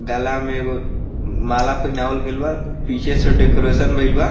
गला में एगो माला पहिनावल गइल बा पीछे से डेकोरेशन भइल बा।